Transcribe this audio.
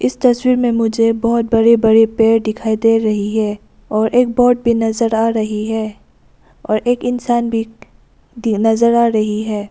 इस तस्वीर में मुझे बहोत बड़े बड़े पेड़ डिखाई डे रही है और एक वोट भी नजर आ रही है और एक इंसान भी डी नजर आ रही है।